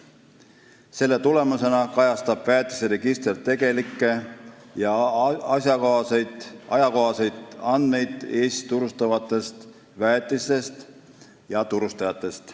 Selle tulemusena kajastab väetiseregister tegelikke, asjakohaseid ja ajakohaseid andmeid Eestis turustatavate väetiste ja turustajate kohta.